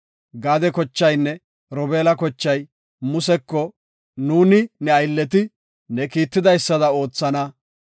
Gaade kochaynne Robeela, kochay Museko, “Nuuni ne aylleti ne kiitidaysada oothana.